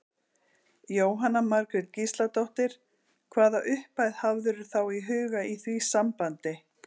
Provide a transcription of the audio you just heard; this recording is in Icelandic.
Jóhanna Margrét Gísladóttir: Hvaða upphæð hafðirðu þá í huga í því sambandi?